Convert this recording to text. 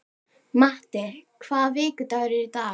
Matti, hvaða vikudagur er í dag?